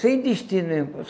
Sem destino.